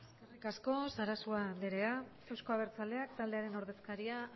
eskerrik asko sarasua anderea euzko abertzaleak taldearen ordezkariak